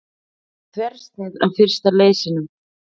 Þversnið af fyrsta leysinum.